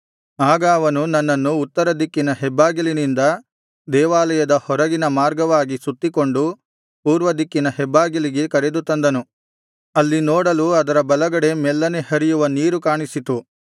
ಆಗ ಅವನು ನನ್ನನ್ನು ಉತ್ತರದಿಕ್ಕಿನ ಹೆಬ್ಬಾಗಿಲಿನಿಂದ ದೇವಾಲಯದ ಹೊರಗಿನ ಮಾರ್ಗವಾಗಿ ಸುತ್ತಿಕೊಂಡು ಪೂರ್ವದಿಕ್ಕಿನ ಹೆಬ್ಬಾಗಿಲಿಗೆ ಕರೆದು ತಂದನು ಅಲ್ಲಿ ನೋಡಲು ಅದರ ಬಲಗಡೆ ಮೆಲ್ಲನೆ ಹರಿಯುವ ನೀರು ಕಾಣಿಸಿತು